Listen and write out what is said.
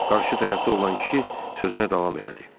Qarşı tərəfdə olan kişi sözünə davam elədi.